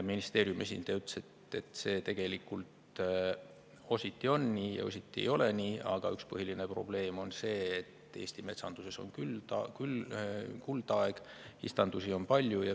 Ministeeriumi esindaja ütles, et see tegelikult ositi on nii ja ositi ei ole nii, aga üks põhiline probleem on see, et Eesti metsanduses on küll kuldaeg, istandusi on palju.